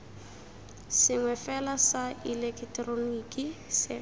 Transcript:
sengwe fela sa ileketeroniki se